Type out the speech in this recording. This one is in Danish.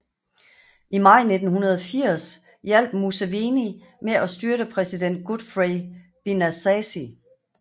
I maj 1980 hjalp Museveni med at styrte præsident Godfrey Binaisa